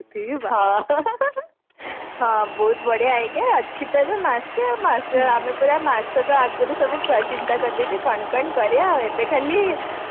ହଁ ବହୁତ ବଢିଆ idea ଅଛିତ ଏବେ ମାସେ ଆଉ ମାସେ ଆମେ ପୁରା ମାସକ ଆଗରୁ ଚିନ୍ତା କରିଦେଇଛେ କଣ କଣ କରିବା ଆଉ ଏବେ ଖାଲି